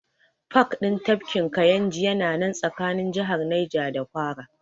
Pak ɗin tafkin Kayinji ya na nan tsakanin jihar Naja da Kwara